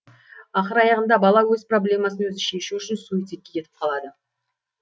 ақыр аяғында бала өз проблемасын өзі шешу үшін суицидке кетіп қалады